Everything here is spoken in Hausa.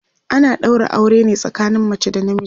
ana ɗaura aure ne tsakanin mace da na miji